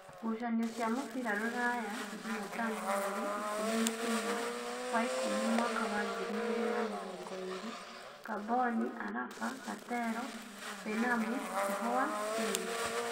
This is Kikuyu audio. Ngucanio cia mũbira Ruraya Jumatano mweri ikũmi na inya wa ikũmi mwaka wa ngiri igĩrĩ na mĩrongoĩrĩ: Ngamboni, Araba, Katero, Mbenamu, Ihua, Keni,